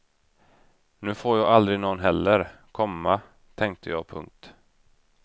Nu får jag aldrig nån heller, komma tänkte jag. punkt